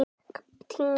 Snjórinn er sleipur!